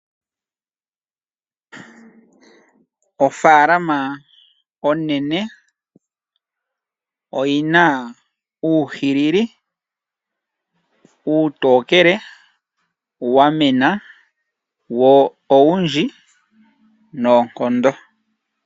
Ofaalama onene oyi na uuhilili uutokele, wamena wo owundji noonkondo.